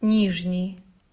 нижний